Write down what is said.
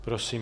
Prosím.